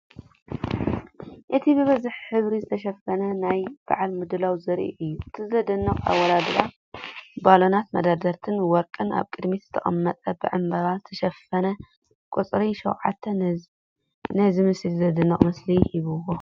እቲ ብብዙሕ ሕብሪ ዝተሸፈነ ናይ በዓል ምድላው ዘርኢ እዩ። እቲ ዘደንቕ ኣወዳድባ ባሎናት፡ መደርደሪታት ወርቂን ኣብ ቅድሚት ዝተቐመጠ ብዕምባባ ዝተሸፈነ ቁጽሪ "7"ን ነዚ ምስሊ ዘደንቕ ምስሊ ሂብዎ።